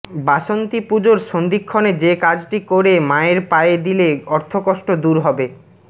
বাসন্তী পুজোর সন্ধিক্ষণে যে কাজটি করে মায়ের পায়ে দিলে অর্থকষ্ট দূর হবে